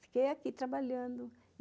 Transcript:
Fiquei aqui trabalhando.